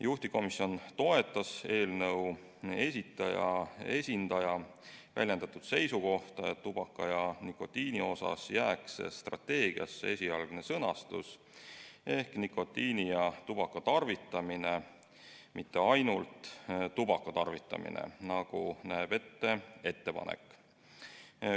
Juhtivkomisjon toetas eelnõu esitaja esindaja väljendatud seisukohta, et tubaka ja nikotiini osas jääks strateegiasse esialgne sõnastus ehk "nikotiini ja tubaka tarvitamine", mitte ainult "tubaka tarvitamine", nagu näeb ette ettepanek.